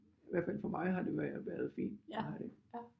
I hvert fald for mig har det været fint